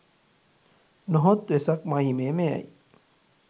නොහොත් වෙසක් මහිමය මෙයයි.